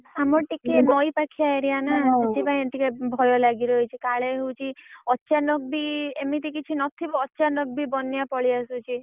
ଆମର ଟିକେ ନଈ ପାଖିଆ area ନା ସେଥିପାଇଁ ଟିକେ ଭୟ ଲାଗି ରହିଛି କାଳେ ହଉଛି ଅଚାନକ ବି ଏମିତି କିଛି ନଥିବ ଅଚାନକ ବି ବନ୍ୟା ପଳେଇଆସୁଛି।